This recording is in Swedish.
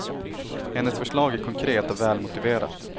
Hennes förslag är konkret och välmotiverat.